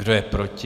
Kdo je proti?